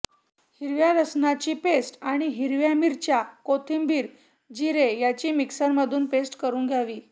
हिरव्या लसणाची पेस्ट आणि हिरव्या मिरच्या कोथिंबीर जिरे याची मिक्सरमधून पेस्ट करून घ्यावी